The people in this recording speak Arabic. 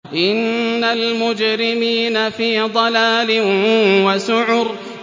إِنَّ الْمُجْرِمِينَ فِي ضَلَالٍ وَسُعُرٍ